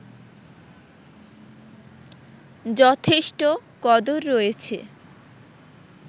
যথেষ্ট কদর রয়েছে